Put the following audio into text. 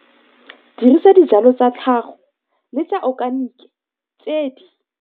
Dirisa dijalo tsa tlhago le tsa okanike tse di